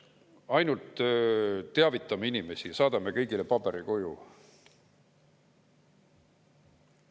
Ainult teavitame inimesi ja saadame kõigile paberi koju.